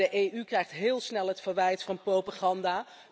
De EU krijgt heel snel het verwijt van propaganda.